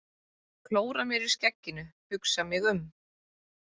Klóra mér í skegginu, hugsa mig um.